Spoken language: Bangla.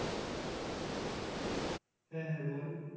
হ্যাঁ হ্যাঁ বল।